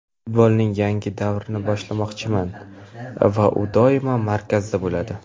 Futbolning yangi davrini boshlamoqchiman va u doimo markazda bo‘ladi.